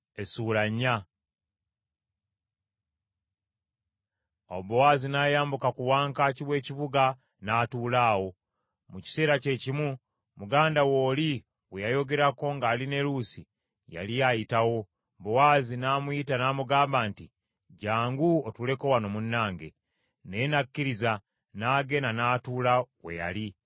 Awo Bowaazi n’ayambuka ku wankaaki w’ekibuga n’atuula awo. Mu kiseera kye kimu, muganda we oli gwe yayogerako ngali ne Luusi, yali ayitawo. Bowaazi n’amuyita namugamba nti, “Jjangu otuuleko wano munnange.” Naye n’akkiriza, n’agenda n’atuula we yali.